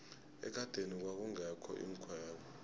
ekadeni kwakungekho iinkhwelo